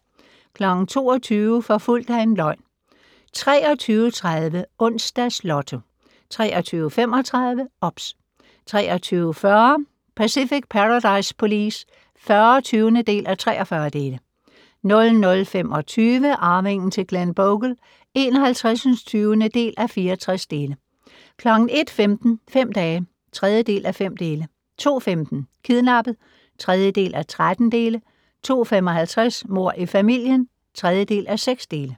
22:00: Forfulgt af en løgn 23:30: Onsdags Lotto 23:35: OBS 23:40: Pacific Paradise Police (40:43) 00:25: Arvingen til Glenbogle (51:64) 01:15: Fem dage (3:5) 02:15: Kidnappet (3:13) 02:55: Mord i familien (3:6)